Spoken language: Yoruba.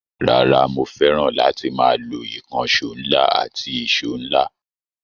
Rara, mo fẹ́ràn láti máa lo ìkànṣọ́ ńlá àti ẹ̀ṣo ńlá.